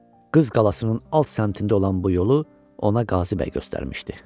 Qız qalasının alt səmtində olan bu yolu ona Qazı bəy göstərmişdi.